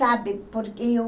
Sabe, porque eu...